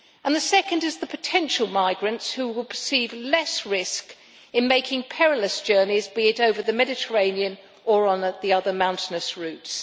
The second is among the potential migrants who will perceive less risk in making perilous journeys, be it over the Mediterranean or on the other, mountainous, routes.